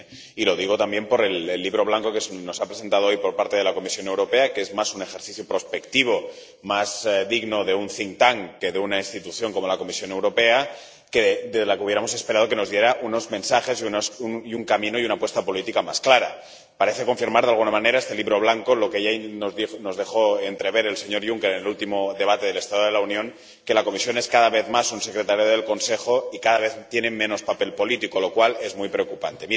Y lo digo también por el Libro Blanco que se nos ha presentado hoy, por parte de la Comisión Europea, que es más un ejercicio prospectivo más digno de un que de una institución como la Comisión Europea, de la que hubiéramos esperado que nos diera unos mensajes y un camino y una apuesta política más clara. Este Libro Blanco parece confirmar, de alguna manera, lo que ya nos dejó entrever el señor Juncker en el último debate del Estado de la Unión que la Comisión es cada vez más un secretariado del Consejo y cada vez tiene menos papel político, lo cual es muy preocupante.